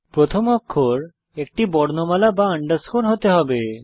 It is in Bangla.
প্রথম অক্ষর একটি বর্ণমালা বা আন্ডারস্কোর হতে হবে